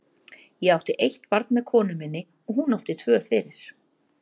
Ég átti eitt barn með konu minni og hún átti tvö fyrir.